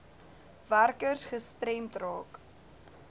werkers gestremd raak